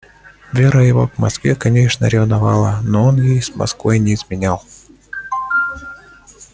вера его к москве конечно ревновала но он ей с москвой не изменял